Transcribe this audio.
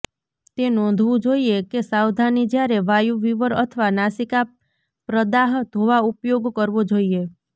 તે નોંધવું જોઇએ કે સાવધાની જ્યારે વાયુ વિવર અથવા નાસિકા પ્રદાહ ધોવા ઉપયોગ કરવો જોઈએ